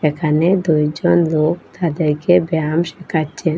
এখানে দুইজন লোক তাদেরকে ব্যায়াম শিখাচ্ছেন।